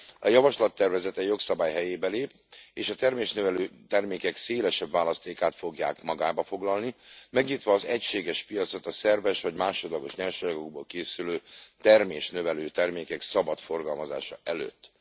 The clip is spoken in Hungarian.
A javaslattervezet egy jogszabály helyébe lép, és a termésnövelő termékek szélesebb választékát fogja magában foglalni, megnyitva az egységes piacot a szerves vagy másodlagos nyersanyagokból készülő termésnövelő termékek szabad forgalmazása előtt.